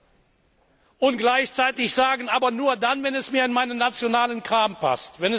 brauchen, und gleichzeitig sagen aber nur dann, wenn es mir in meinen nationalen Kram passt!